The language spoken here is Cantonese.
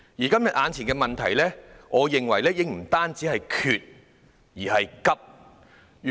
今天眼前的問題，我認為已不單是短缺，而且是緊急。